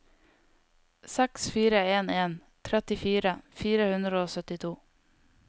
seks fire en en trettifire fire hundre og syttito